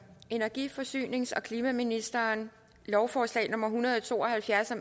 energi forsynings og klimaministeren lovforslag nummer hundrede og to og halvfjerds og